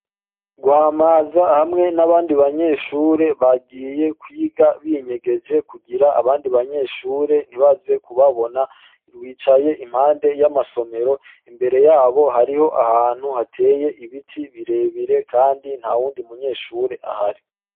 Rwamaza hamwe n'abandi banyeshure, bagiye kwiga binyegeje kugira abandi banyeshure ntibaze kubabona, bicaye iruhande y'amasomero, imbere yabo hariho ahantu hateye ibiti birebire kandi ntawundi m'unyeshure ahari.